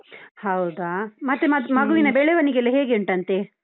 ಹೌದಾ, ಮತ್ತೆ ಮಗು~ ಮಗುವಿನ ಬೆಳವಣಿಗೆ ಎಲ್ಲ ಹೇಗೆ ಉಂಟಂತೆ?